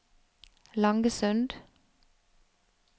Langesund